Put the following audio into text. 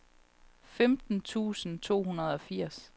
femten tusind to hundrede og firs